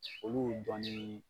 Olu dɔnni